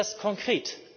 Was bringt das konkret